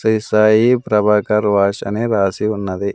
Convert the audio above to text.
Shri Sai Prabhakar wash అనే రాసి ఉన్నది.